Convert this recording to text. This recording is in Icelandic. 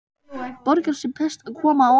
Borgar sig best að koma á óvart.